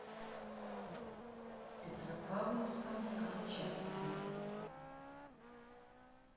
петропавловском камчатским